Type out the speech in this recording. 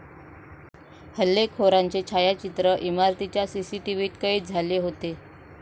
हल्लेखाेरांचे छायाचित्र इमारतीच्या सीसीटीव्हीत कैद झाले होते.